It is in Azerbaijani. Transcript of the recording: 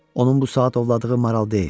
Onun bu saat ovladığı maral deyil.